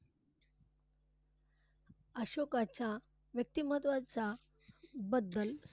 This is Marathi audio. अशोकाच्या व्यक्तिमत्वाच्या बद्दल